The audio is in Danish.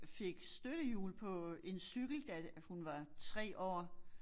Fik støttehjul på en cykel da hun var 3 år